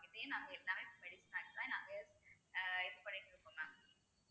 இதையே நாங்க நாங்க இது பண்ணிட்டுருக்கோம் mam